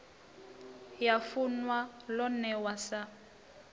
ya funwa lo newa sa